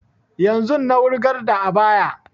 Yanzun na wurgar da ayaba